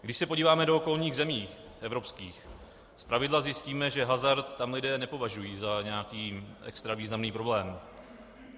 Když se podíváme do okolních zemí evropských, zpravidla zjistíme, že hazard tam lidé nepovažují za nějaký extra významný problém.